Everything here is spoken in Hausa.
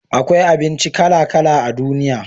akwai abinci kala kala a duniya